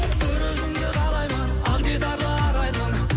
бір өзіңді қалаймын ақ дидарлы арайлым